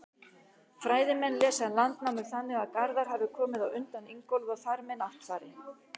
Fræðimenn lesa Landnámu þannig að Garðar hafi komið á undan Ingólfi og þar með Náttfari.